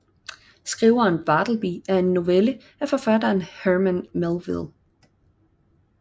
Skriveren Bartleby er en novelle af forfatteren Herman Melville